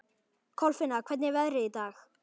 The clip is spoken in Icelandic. Kolfinna, hvernig er veðrið í dag?